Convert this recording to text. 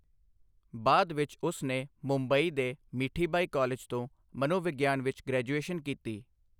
ਬਾਅਦ ਵਿੱਚ ਉਸ ਨੇ ਮੁੰਬਈ ਦੇ ਮੀਠੀਬਾਈ ਕਾਲਜ ਤੋਂ ਮਨੋਵਿਗਿਆਨ ਵਿੱਚ ਗ੍ਰੈਜੂਏਸ਼ਨ ਕੀਤੀ।